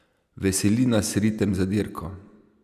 Veseli nas ritem za dirko.